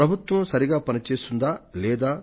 ప్రభుత్వం సరిగా పనిచేస్తుందా లేదా